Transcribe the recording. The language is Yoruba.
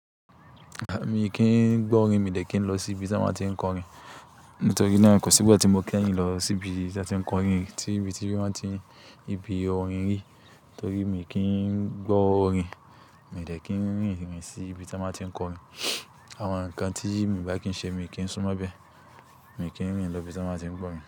Mi kì ń gbọ́ orin, mi ò dẹ̀ kí ń lọ sí ibi tí wọ́n máa tí ń kọ orin. Nítorí náà kò sí ìgbà tí mo kí ẹ̀yin lọ sí ibi tí wọ́n ti kọ orin, tí ibi tí wọ́n máa tí ibi orin rí. Nítorí mi kì ń gbọ́ orin, mi ò dẹ̀ kí ń rìn rìn sí ibi tí wọ́n máa tí ń kọ orin. Àwọn nǹkan tí mi bá kí ń ṣe mi kì ń sún mọ́ bẹ́. Mi ò kí ń rìn lọ ibi tí wọ́n máa tí ń gbọ́ orin.